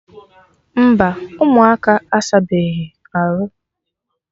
Mba, ụmụaka asabeghi arụ